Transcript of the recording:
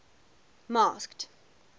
masked